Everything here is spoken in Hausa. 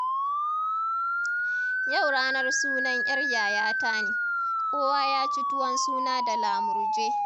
Yau ranar sunan 'yar yayata ne, kowa ya ci tuwon suna da lamurje.